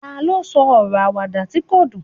ta lo sọ ọrọ Àwàdà ti ko dun